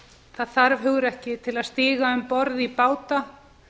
það þarf hugrekki til að stíga um borð í báta